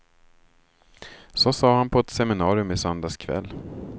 Så sade han på ett seminarium i söndags kväll.